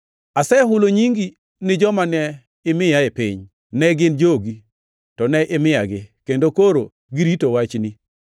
“Asehulo nyingi ni joma ne imiya e piny. Ne gin jogi, to ne imiyagi, kendo koro girito wachni.